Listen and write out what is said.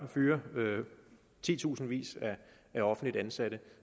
at fyre titusindvis af offentligt ansatte